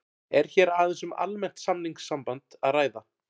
Er hér aðeins um almennt samningssamband að ræða.